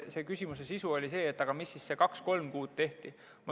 Teie küsimuse sisu oli see, et mis siis kaks-kolm kuud tehti.